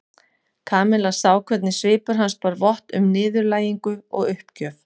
Kamilla sá hvernig svipur hans bar vott um niðurlægingu og uppgjöf.